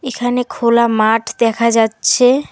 এখানে খোলা মাঠ দেখা যাচ্ছে।